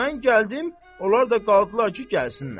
Mən gəldim, onlar da qaldılar ki, gəlsinlər.